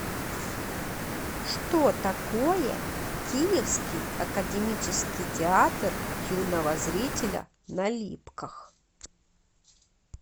что такое киевский академический театр юного зрителя на липках